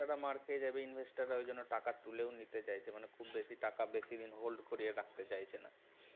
মার খেয়ে যাবে investor রা এজন্য টাকা তুলে নিতে চাইছে, খুব বেশি টাকা বেশিদিন hold করিয়ে রাখতে চাইছে না